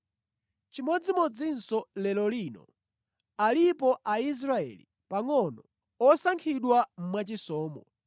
Chimodzimodzinso lero lino, alipo Aisraeli pangʼono osankhidwa mwachisomo.